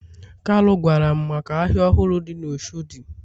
kalu gwaram maka ahia ohuru di na oshodi.